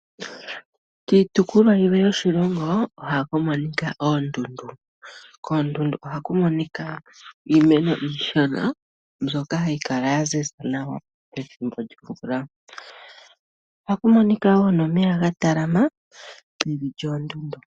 Kiitopolwa yilwe yoshilongo ohaku monika oondundu. Koondundu ohaku monika iimeno iishona mbyoka hayi kala ya ziza nawa pethimbo lyomvula. Ohaku monika nomeya gatalama meni lyoondundu.